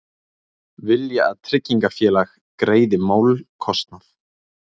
Vilja að tryggingafélag greiði málskostnað